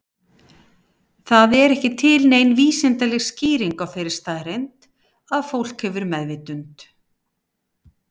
Það er ekki til nein vísindaleg skýring á þeirri staðreynd að fólk hefur meðvitund.